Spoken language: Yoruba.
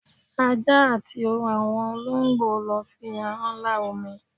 Ajá àti àwọn olóǹgbò ló fi ahán lá omi